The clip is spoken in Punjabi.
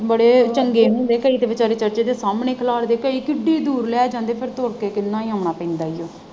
ਬੜੇ ਚੰਗੇ ਹੁੰਦੇ ਕਈ ਤਾਂ ਵਿਚਾਰੇ church ਦੇ ਸਾਹਮਣੇ ਖਲਾਰਦੇ ਕਈ ਕਿੱਡੀ ਦੂਰ ਲੈ ਜਾਂਦੇ ਫਿਰ ਤੁਰ ਕੇ ਕਿੰਨਾ ਹੀ ਆਉਣਾ ਪੈਂਦਾ ਹੀ ਹੇ।